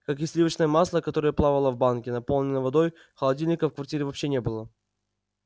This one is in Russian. как и сливочное масло которое плавало в банке наполненной водой холодильника в квартире вообще не было